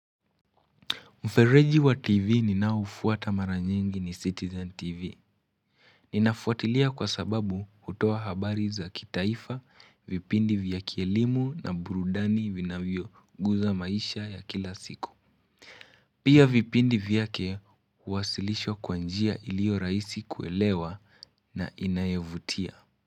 Mfereji wa TV ninaoufuata mara nyingi ni Citizen TV. Ninafuatilia kwa sababu hutoa habari za kitaifa, vipindi vya kielimu na burudani vinavyoguza maisha ya kila siku. Pia vipindi vyake huwasilishwa kwa njia iliyo rahisi kuelewa na inayovutia.